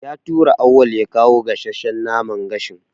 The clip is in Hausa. Ya tura Auwal ya kawo gasasshan naman gashin.